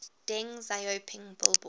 deng xiaoping billboard